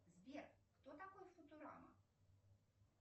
сбер кто такой футурама